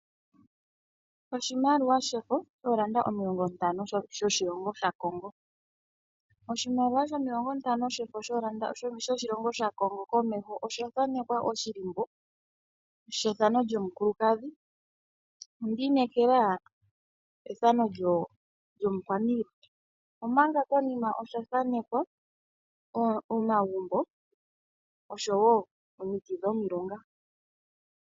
Oshimaliwa shefo, ooranda omilongontano shoshilongo shaCongo. Oshimaliwa shomilongontano shoshilongo shaCongo komeho osha thanekwa oshilimbo shethano lyomukulukadhi, ondi inekela ethano lyomukwaniilwa, omanga konima osha thanekwa omagumbo osho wo omiti dhomilunga.